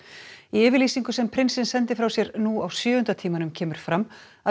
í yfirlýsingu sem prinsinn sendi frá sér nú á sjöunda tímanum kemur fram að